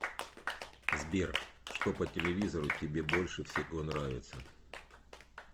сбер что по телевизору тебе больше всего нравится